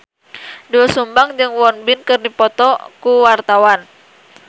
Doel Sumbang jeung Won Bin keur dipoto ku wartawan